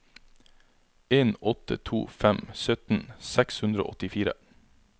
en åtte to fem sytten seks hundre og åttifire